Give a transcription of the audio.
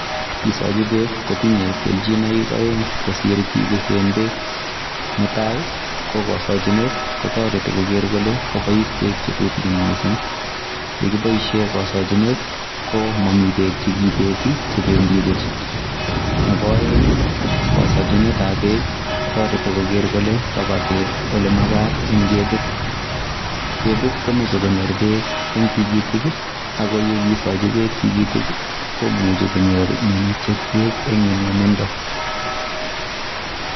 Kisochi beek kotinye kelchinoik aeng' kosir kibisen beek. Ne tai, ko kasachinet, kotoreti koger kole kobois beek che tutikin missing. Ye kiboisie kasachinet, ko mamii beek chekibeti, chebendi buch. Nebo aeng', ko kasachinetab beek, kotoreti koger kole kaba beek ole magat, eng' ketit. Ketit komeche konyor beek eng' tigitik, ago yekisochi beek tigitik, komuchi konyor minutiet beek eng' nyumnyumindo